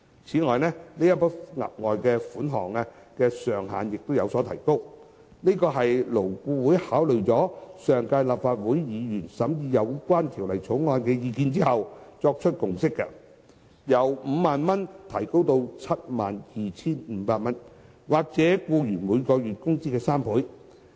此外，這筆額外款項的上限亦有所提高，這是勞顧會考慮了上屆立法會議員審議《2016年條例草案》的意見後作出的共識，由 50,000 元提高至 72,500 元或僱員每月工資的3倍。